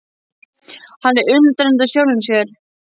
Hann er undrandi á sjálfum sér.